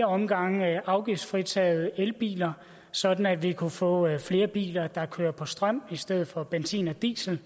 omgange afgiftsfritaget elbiler sådan at vi kunne få flere biler der kører på strøm i stedet for benzin og diesel